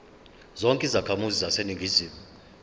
zonke izakhamizi zaseningizimu